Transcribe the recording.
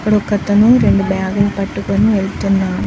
ఒక అతను రెండు బ్యాగు లు పట్టుకొని వెళుతున్ --